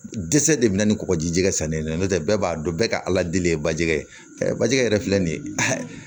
Dɛsɛ de bɛ na ni kɔkɔjikɛ sannen no tɛ bɛɛ b'a dɔn bɛɛ ka ala deli ye bajigi ye bajɛgɛ yɛrɛ filɛ nin ye